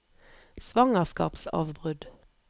svangerskapsavbrudd